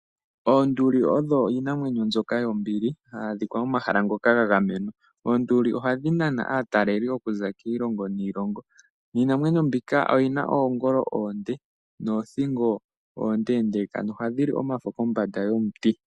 Oonduli odho iinamwenyoka mbyoka yombili hayi adhika momahala moka ga gamenwa. Oonduli ohadhi nana aataleli po okuza kiilongo niilongo. Iinamwenyo mbika oyi na oongolo oonde noothingo oondeendeeka. Ohadhi li omafo pombanda yomiti.